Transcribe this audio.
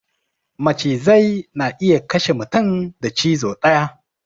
Macizai na iya kashe mutum da cizo daya